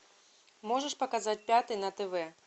можешь показать пятый на тв